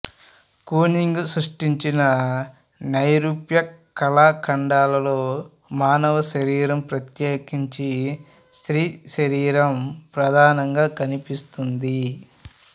Kooning సృష్టించిన నైరూప్య కళాఖండాలలో మానవ శరీరం ప్రత్యేకించి స్త్రీ శరీరం ప్రధానంగా కనిపిస్తుంది